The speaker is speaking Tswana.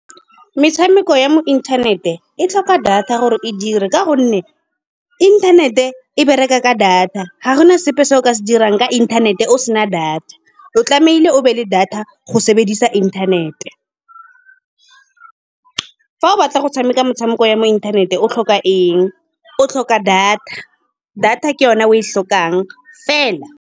Metshameko ya mo inthanete e tlhoka data gore e dire, ka gonne inthanete e bereka ka data. Ga gona sepe se o ka se dirang ka inthanete o se na data. O tlamehile o be le data ka go sebedisa internet-e. Fa o batla go tshameka metshameko ya mo inthaneteng o tlhoka eng, o tlhoka data. Data ke yone o e tlhokang fela.